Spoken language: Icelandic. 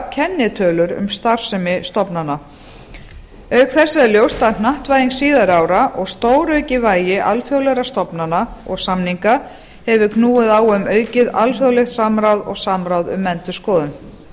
kennitölur um starfsemi stofnana auk þessa er ljóst að hnattvæðing síðari ára og stóraukið vægi alþjóðlegra stofnana og samninga hefur knúið á um aukið alþjóðlegt samráð og samráð um endurskoðun